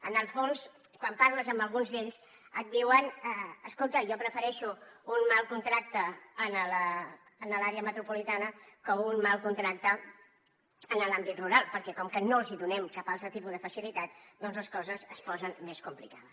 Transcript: en el fons quan parles amb alguns d’ells et diuen escolta jo prefereixo un mal contracte a l’àrea metropolitana que un mal contracte a l’àmbit rural perquè com que no els donem cap altre tipus de facilitat doncs les coses es posen més complicades